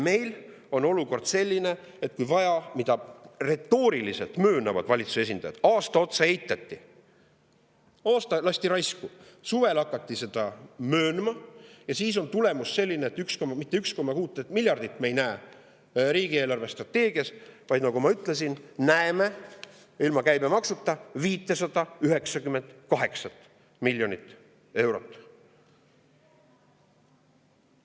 Meil on selline olukord, mida retooriliselt möönavad ka valitsuse esindajad, et aasta otsa eitati, lasti raisku, suvel hakati seda möönma ja tulemus on selline, et riigi eelarvestrateegias ei näe mitte 1,6 miljardit, vaid nagu ma ütlesin, näeme ilma käibemaksuta 598 miljonit eurot.